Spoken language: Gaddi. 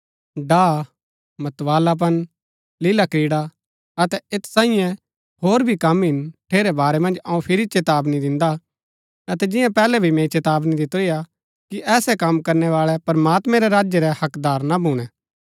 डाह मतवालापन लीलाक्रीड़ा अतै ऐत सांईये होर भी कम हिन ठेरै वारै मन्ज अऊँ फिरी चेतावनी दिन्दा अतै जिंआं पैहलै भी मैंई चेतावनी दितुरी हा कि ऐसै कम करणै बाळै प्रमात्मैं रै राज्य रै हक्कदार ना भूणै